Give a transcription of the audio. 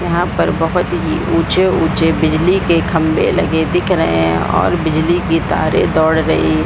यहां पर बहुत ही ऊंचे-ऊंचे बिजली के खंभे लगे दिख रहे है और बिजली की तारे दौड़ रही --